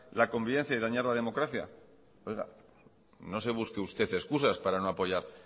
la convivencia y dañar la democracia oiga no se busque usted excusas para no apoyar